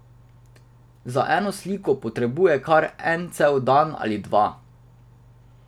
Za eno sliko potrebuje kar en cel dan ali dva.